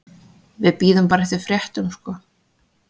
Bíðum bara eftir fréttum sko.